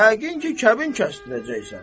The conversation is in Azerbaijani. Yəqin ki, kəbin kəsdirməyəcəksən.